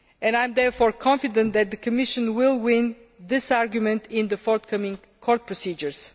I am therefore confident that the Commission will win this argument in the forthcoming court procedures.